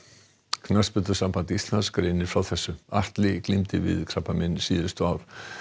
knattspyrnusamband Íslands greinir frá þessu Atli glímdi við krabbamein síðustu ár